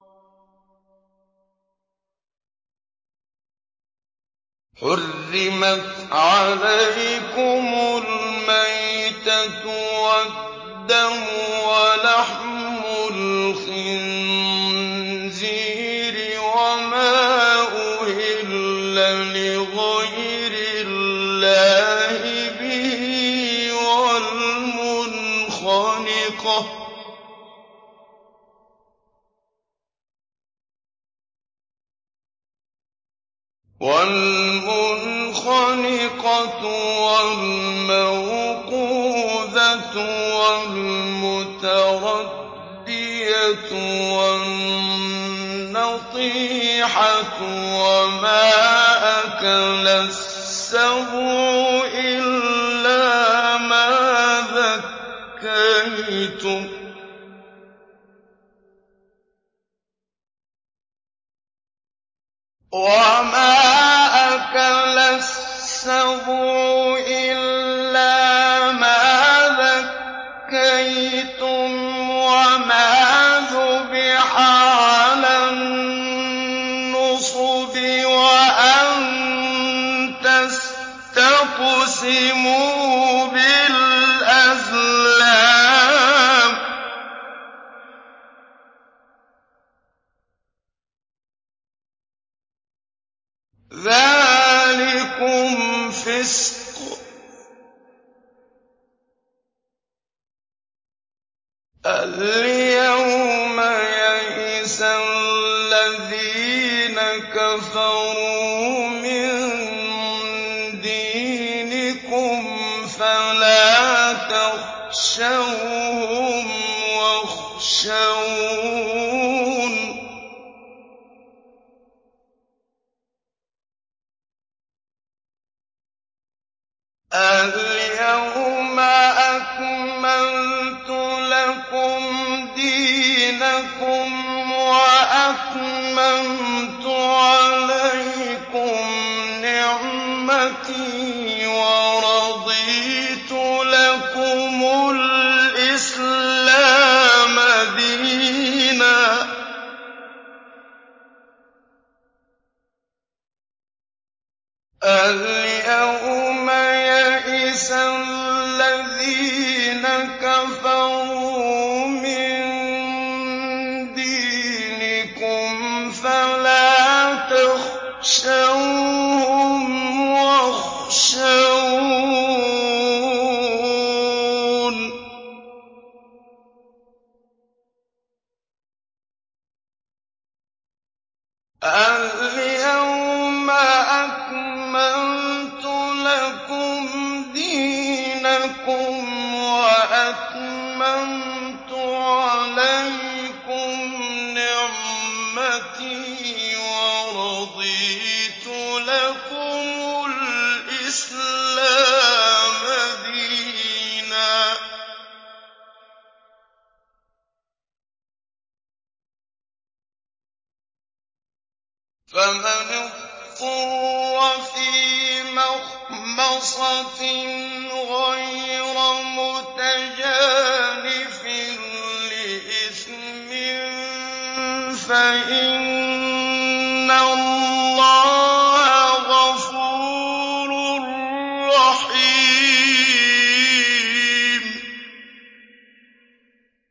حُرِّمَتْ عَلَيْكُمُ الْمَيْتَةُ وَالدَّمُ وَلَحْمُ الْخِنزِيرِ وَمَا أُهِلَّ لِغَيْرِ اللَّهِ بِهِ وَالْمُنْخَنِقَةُ وَالْمَوْقُوذَةُ وَالْمُتَرَدِّيَةُ وَالنَّطِيحَةُ وَمَا أَكَلَ السَّبُعُ إِلَّا مَا ذَكَّيْتُمْ وَمَا ذُبِحَ عَلَى النُّصُبِ وَأَن تَسْتَقْسِمُوا بِالْأَزْلَامِ ۚ ذَٰلِكُمْ فِسْقٌ ۗ الْيَوْمَ يَئِسَ الَّذِينَ كَفَرُوا مِن دِينِكُمْ فَلَا تَخْشَوْهُمْ وَاخْشَوْنِ ۚ الْيَوْمَ أَكْمَلْتُ لَكُمْ دِينَكُمْ وَأَتْمَمْتُ عَلَيْكُمْ نِعْمَتِي وَرَضِيتُ لَكُمُ الْإِسْلَامَ دِينًا ۚ فَمَنِ اضْطُرَّ فِي مَخْمَصَةٍ غَيْرَ مُتَجَانِفٍ لِّإِثْمٍ ۙ فَإِنَّ اللَّهَ غَفُورٌ رَّحِيمٌ